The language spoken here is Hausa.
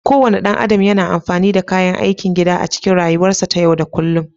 Kowane ɗan adam yana amfani da kayan aikin gida a cikin rayuwarsa ta yau da kullun